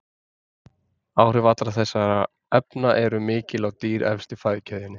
Áhrif allra þessara efna eru mikil á dýr efst í fæðukeðjunni.